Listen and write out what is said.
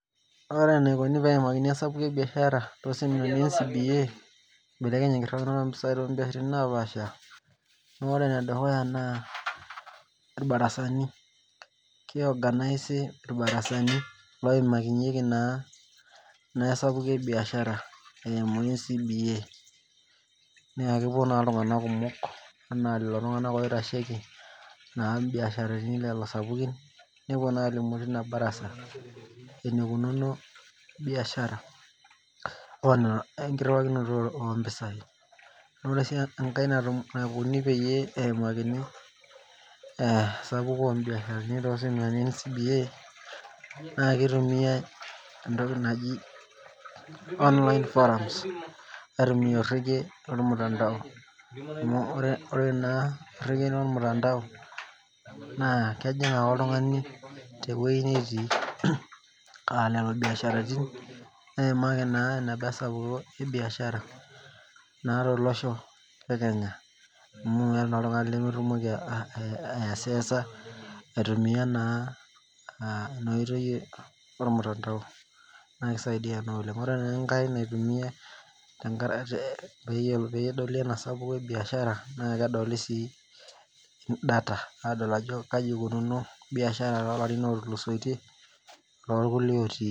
Ore nai naikuni peimakini esapuko ebiashara naa ibelekenye esiai ompisai tesiai napaasha naore edukuya na irbarasanu kioganisi irbarasani oimarieki naa esapuko ebiashara eimu ncba na kepuo ltunganak kumok anaa ltunganak oitasheki nepuo alimu tilo barasa enikunono biashara enkiriwakini ompisai ore si enkae naikuni peimakini esapuko ompisai elte ncba naa kitumiai entoki naji online forums aitumia orege lormutandao amu ore ena orege lormutandao na kejing ake oltungani teoi natii neimaki enabaa biashara tolosho lekenya aitumia naa enoshi toki ormutandao ore. Enkae naitumiai peyieu edoli enasapuko ebiashara kai ikunono tolarin otulusoitie orkulie otii